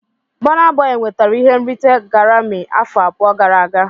Bona boi nwetara ihe nrite Garami afọ abụọ gara aga.